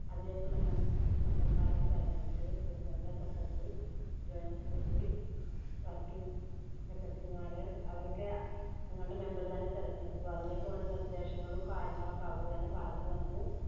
അതിലേക്കുള്ള മെ~ member മാരെ ഒക്കെ തെരഞ്ഞെടുത്തു. President, Secretary, Joint secretary, working secretary മാര് അവരൊക്കെ ഞങ്ങളുടെ member തന്നെ തെരഞ്ഞെടുത്തു. അതിലേക്ക് വേണ്ട നിർദേശങ്ങളും കാര്യങ്ങളും ഒക്കെ അവരുതന്നെ പറഞ്ഞുതന്നു.